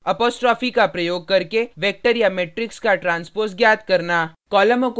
apostrophe का प्रयोग करके वेक्टर या मेट्रिक्स का ट्रांसपोज ज्ञात करना